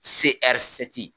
Se ɛri sɛti